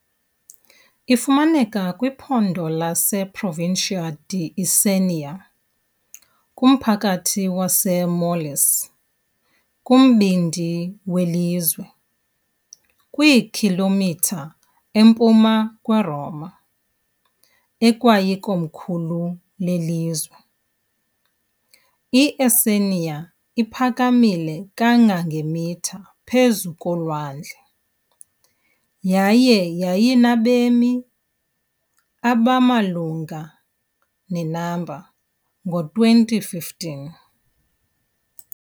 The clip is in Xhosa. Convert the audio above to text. Ifumaneka kwiphondo leProvincia di Isernia kunye nommandla waseMolise, kumbindi welizwe, km empuma yeRoma, ekwayikomkhulu lelizwe. I-Isernia iphakamile kangangemitha phezu kwolwandle yaye yayinabemi abamalunga ne-number ngo2015.